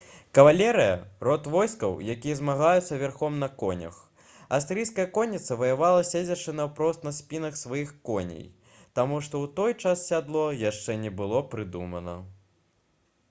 кавалерыя род войскаў якія змагаюцца верхам на конях асірыйская конніца ваявала седзячы наўпрост на спінах сваіх коней таму што ў той час сядло яшчэ не было прыдумана